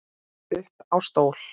Upp á stól